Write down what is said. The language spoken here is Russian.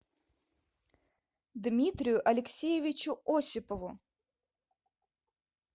дмитрию алексеевичу осипову